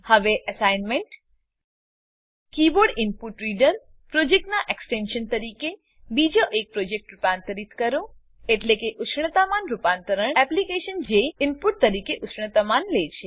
હવે assignment keyboard input reader પ્રોજેક્ટનાં extension તરીકે બીજો એક પ્રોજેક્ટને રૂપાંતરિત કરો એટલે કે ઉષ્ણતામાન રૂપાંતરણ એપ્લીકેશન જે ઈનપુટ તરીકે ઉષ્ણતામાન લે છે